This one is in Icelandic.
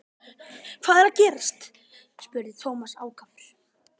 Hvað er að gerast? spurði Thomas ákafur.